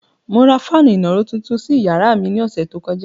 Mo ra fáànù ìnàró tuntun sí yàrá mi ní ọ̀sẹ̀ tó kọjá.